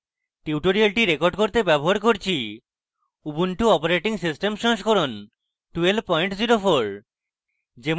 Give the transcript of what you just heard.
tutorial record করতে ব্যবহার করছি ubuntu operating system সংস্করণ 1204